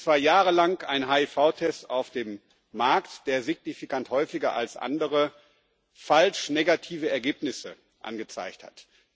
Es war jahrelang ein HIV-Test auf dem Markt, der signifikant häufiger als andere falsch negative Ergebnisse angezeigt hat.